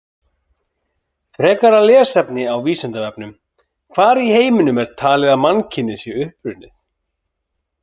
Frekara lesefni á Vísindavefnum: Hvar í heiminum er talið að mannkynið sé upprunnið?